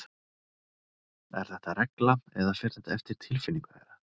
Er þetta regla eða fer þetta eftir tilfinningu þeirra?